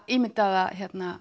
ímyndaða